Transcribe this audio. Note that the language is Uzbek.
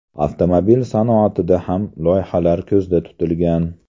Avtomobil sanoatida ham loyihalar ko‘zda tutilgan.